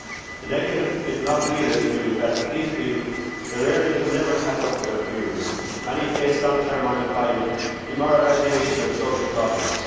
The negative, if not realist, view is that for these people their earnings will never catch up with those of their peers. Many face long term unemployment, demoralisation and social problems.